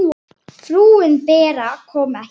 Frúin Bera kom ekki.